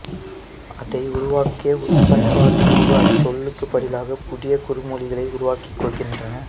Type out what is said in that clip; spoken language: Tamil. அதை உருவாக்கிய உட்பண்பாட்டுக் குழு அச்சொல்லுக்குப் பதிலாகப் புதிய குறுமொழிகளை உருவாக்கிக் கொள்கின்றன